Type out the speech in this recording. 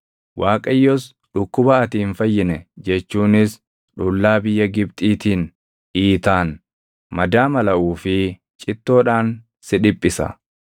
Waaqayyos dhukkuba ati hin fayyine jechuunis dhullaa biyya Gibxiitiin, iitaan, madaa malaʼuu fi cittoodhaan si dhiphisa.